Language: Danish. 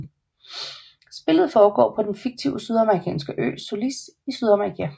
Spillet foregår på den fiktive sydamerikanske ø Solís i Sydamerika